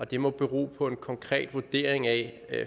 det må bero på en konkret vurdering af